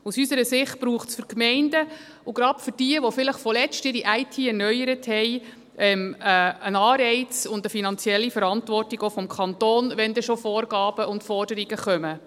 Aus unserer Sicht braucht es für die Gemeinden – und gerade für jene, die vielleicht erst vor kurzem ihre IT erneuert haben – einen Anreiz und auch eine finanzielle Verantwortung des Kantons, wenn dann schon Vorgaben und Forderungen kommen.